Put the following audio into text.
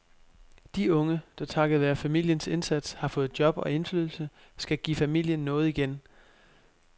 De unge, der takket være familiens indsats har fået job og indflydelse, skal give familien noget igen.